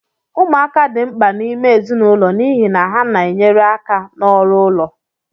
Ụmụaka dị mkpa n'ime ezinụlọ n'ihi na ha na-enyere aka n'ọrụ ụlọ